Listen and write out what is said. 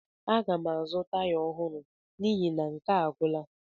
Aga m azụta taya ọhụrụ n'ihi na nke a agwụla.